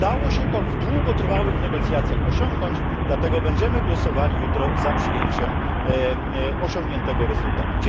Udało się to w długotrwałych negocjacjach osiągnąć, dlatego będziemy głosowali jutro za przyjęciem osiągniętego rezultatu.